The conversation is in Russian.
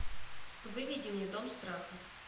выведи мне дом страха